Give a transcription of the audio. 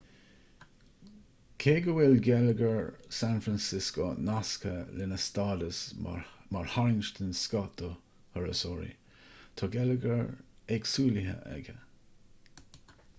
cé go bhfuil geilleagar san francisco nasctha lena stádas mar tharraingt den scoth do thurasóirí tá geilleagar éagsúlaithe aige